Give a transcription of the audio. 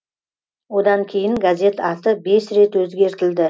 одан кейін газет аты бес рет өзгертілді